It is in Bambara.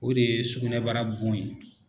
O de ye sukunɛbara bon ye.